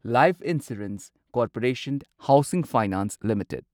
life insurance corporation housing finance limited